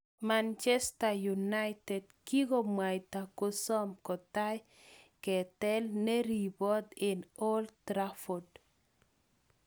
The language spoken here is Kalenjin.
Manchester United kikomwaita kosom kotai ketel neribot eng Old Trafford.